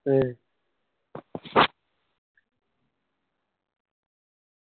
ഏർ